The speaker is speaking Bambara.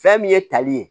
Fɛn min ye tali ye